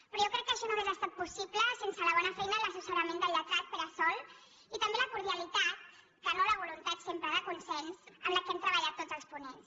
però jo crec que això no hauria estat possible sense la bona feina i l’assessorament del lletrat pere sol i també la cordialitat que no la voluntat sempre de consens amb què hem treballat tots els ponents